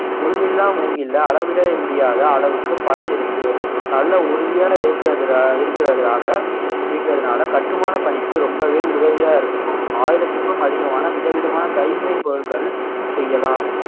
முள் இல்லா மூங்கில்ல அளவிடவே முடியாத அளவுக்கு பலன் இருக்கு நல்ல உறுதியா இருக்கறதுனா~ இருக்கறதுனால இருக்கறதுனால கட்டுமான பணிக்கு ரொம்பவே உதவியா இருக்கும் ஆயிரத்துக்கும் அதிகமான விதவிதமான கைவினைப் பொருட்கள் செய்யலாம்